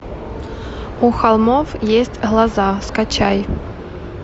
у холмов есть глаза скачай